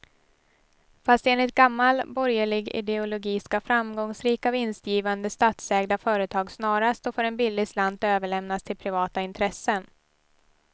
Fast enligt gammal borgerlig ideologi ska framgångsrika, vinstgivande statsägda företag snarast och för en billig slant överlämnas till privata intressen.